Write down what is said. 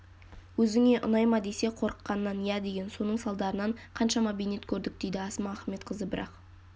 өзіңе ұнай ма десе қорыққанынан иә деген соның салдарынан қаншама бейнет көрдік дейді асма ахметқызы бірақ